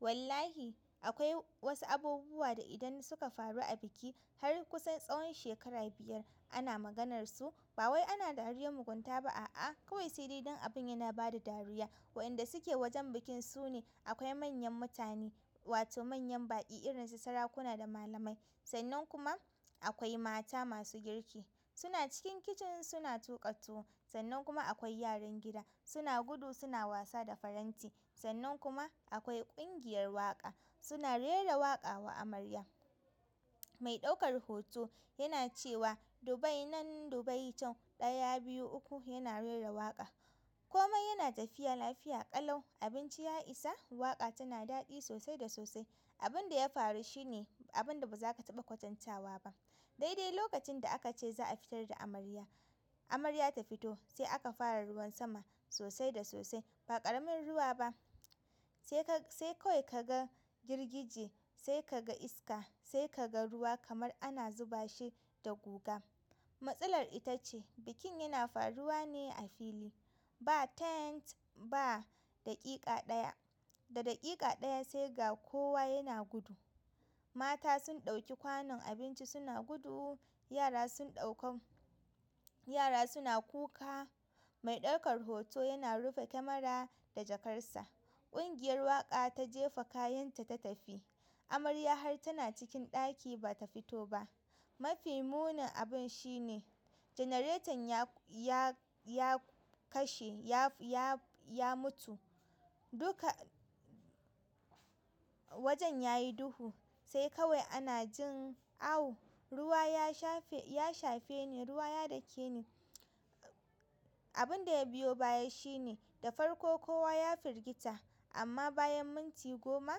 Wallahi akwai wasu abubuwa da idan suka faru a biki har kusan tsawon shekara biyar ana maganarsu. Ba wai ana dariyar mugunta ba a'a kawai sai dai don abin yana bada dariya. Waɗanda suke wajen bikin su ne. Akwai manyan mutane wato manyan baƙi irin su sarakuna da malamai. Sannan kuma akwai mata masu girki suna cikin kicin suna tuƙa tuwo. Sannan kuma akwai yaran gida suna gudu suna wasa da faranti. Sannan kuma akwai ƙungiyar waƙa suna rera waƙa wa amarya. Mai ɗaukar hoto yana cewa Dubai nan Dubai can ɗaya, biyu, uku yana rera waƙa. Komai yana tafiya lafiya ƙalau abinci ya isa waƙa tana daɗi sosai da sosai. Abin da ya faru shine abinda baza ka taɓa kwatantawa ba daidai lokacin da aka ce za a fitar da amarya, amarya ta fito sai aka fara ruwan sama sosai da sosai. Ba ƙaramin ruwa ba sai ka sai kawai ka ga jirgije, sai ka ga iska, sai ka ga ruwa kamar ana zuba shi da guga. Matsalar ita ce bikin yana faruwa ne a fili ba tent ba. Daƙiƙa ɗaya, da daƙiƙa ɗaya sai ga kowa yana gudu. Mata sun ɗauki kwanon abinci suna gudu, yara sun ɗauka yara suna kuka. Mai ɗaukar hoto yana rufe camera da jakarsa. Ƙungiyar waƙa ta jefa kayanta ta tafi. Amarya har tana cikin ɗaki ba ta fito ba. Mafi munin abin shi ne janareton ya, ya, ya kashe ya, ya, ya mutu. Duka wajen ya yi duhu sai kawai ana jin awu. Ruwa ya shafe, ya shafe ni, ruwa ya dake ni. Abin da ya biyo baya shi ne da farko kowa ya firgita amma bayan minti goma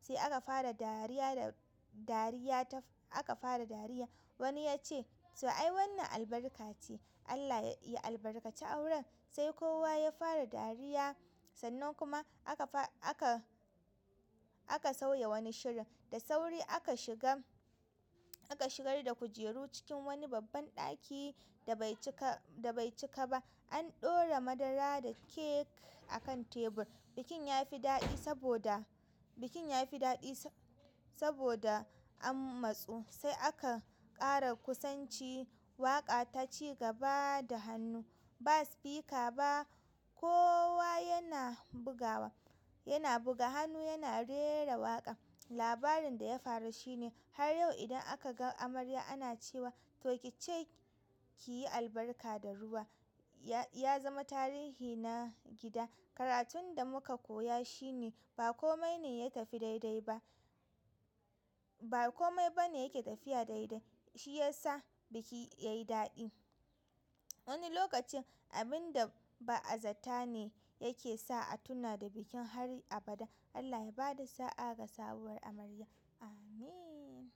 sai aka fara dariya da dariya ta aka fara dariya. Wani yace to ai wannan albarka ce Allah ya albarkaci auren, sai kowa ya fara dariya. Sannan kuma aka fa, aka, aka sauya wani shirin. Da sauri aka shiga, aka shigar da kujeru cikin wani babban ɗaki da bai cika, da bai cika ba. An ɗora madara da kek akan tebur. Bikin ya fi daɗi saboda, bikin ya fi daɗi saboda an matsu sai aka ƙara kusanci. Waƙa ta ci gaba da hannu ba spika ba kowa yana bugawa, yana buga hannu yana rera waƙa. Labarin da ya faru shi ne har yau idan aka ga amarya ana cewa to ki ce ki yi albarka da ruwa. Ya zama tarihi na gida. Karatun da muka koya shi ne ba kome ne ya tafi daidai ba. Ba kome ba ne yake tafiya daidai. Shi ya sa biki ya yi daɗi. Wani lokacin abin da ba'azata ne yake sa a tuna da bikin har abada. Allah ya ba da sa'a ga sabuwar amarya. Amin.